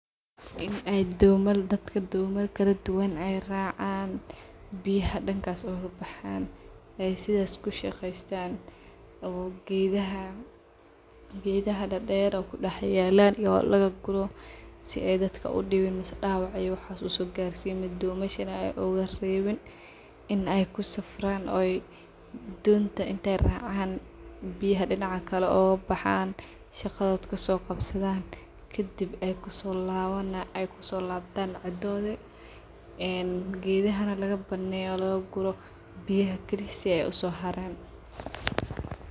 Ee domal , dadka domal kaladuwan ay racayan, biyaha dankas ay ogabaxan ay sidas kushaqestan oo gedaha dader kuyalan oo racayan in ay kusigtan donta oo biyaha dinaca kale ogabaxan , arimahan wa cajib dadka maxcabsadan waayo meshan ay dax maranan shaqadod kasoqabsatan markay rawan kadib ay kusolabtan guriyahoda gedahana lagabaneyo lagaguro biyaha kili si ay usoharan.